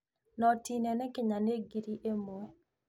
Noti nene Kenya nĩ ngiri ĩmwe.